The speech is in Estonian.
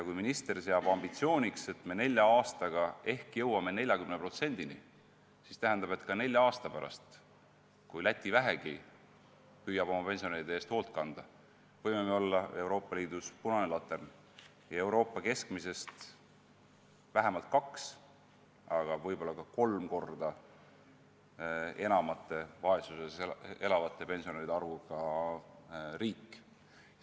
Kui minister seab ambitsiooniks, et me nelja aastaga ehk jõuame 40%-ni, siis tähendab, et ka nelja aasta pärast, kui Läti vähegi püüab oma pensionäride eest hoolt kanda, võime me olla Euroopa Liidus punane latern ja Euroopa keskmisest vähemalt kaks, aga võib-olla ka kolm korda suurema vaesuses elavate pensionäride arvuga riik.